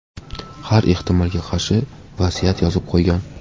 Har ehtimolga qarshi vasiyat yozib qo‘ygan.